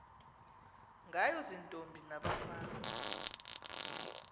ngayo ziintombi nabafana